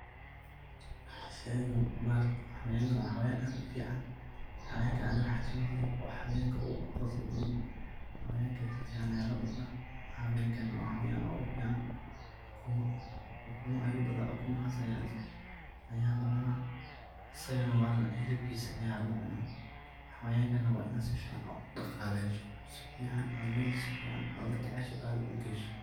Sheegan, xawayanga wa xawayaan aad u fican xawayanga Anika waxawayan saait u fican, u Kuma yu dalah dibkasia waxaye xawayanga wa Ina sufican u daqaleeysah sufican ugu dathasha meel geeysoh.